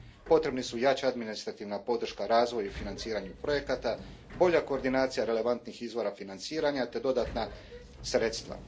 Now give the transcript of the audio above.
Potrebni su jača administrativna podrška razvoju i financiranju projekata, bolja koordinacija relevantnih izvora financiranja, te dodatna sredstva.